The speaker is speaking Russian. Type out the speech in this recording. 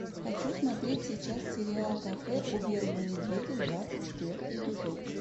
хочу смотреть сейчас сериал кафе у белого медведя двадцать четвертый эпизод